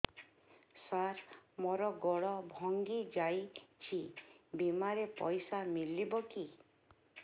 ସାର ମର ଗୋଡ ଭଙ୍ଗି ଯାଇ ଛି ବିମାରେ ପଇସା ମିଳିବ କି